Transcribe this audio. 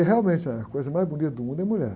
E realmente, a coisa mais bonita do mundo é mulher.